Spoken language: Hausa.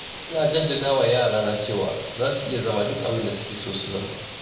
Ina jaddadawa yarana cewa za su iya zama duk abinda suke son zama.